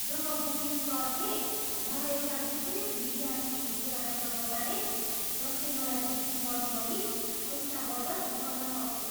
जब booking क्लर्कले मलाई एउटा विशेष विद्यार्थी छुटको बारेमा बताए जसले मलाई बुकिङ गर्नु अघि पैसा बचत गर्न सक्थ्यो।